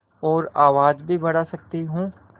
और आवाज़ भी बढ़ा सकती हूँ